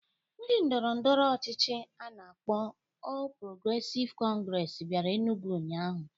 Ndi ndoro ndọrọndọrọ ọchịchị a na-akpọ Ọl Progresịv Kọngresi bịara Enugwu ụnyaahụ